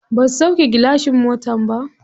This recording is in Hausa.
Ba su sauƙe gilashin motar ba.